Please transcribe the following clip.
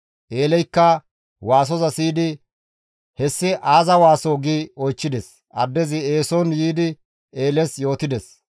Eeleykka waasoza siyidi, «Hessi aaza waasoo?» gi oychchides; addezi eeson yiidi Eeles yootides.